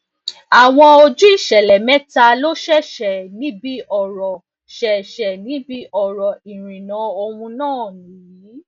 àwọn ojú ìṣẹlẹ méta lò ṣeéṣe níbí oro ṣeéṣe níbí oro irinna òun nàá niyii